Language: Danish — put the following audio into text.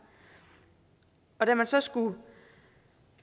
og da man så skulle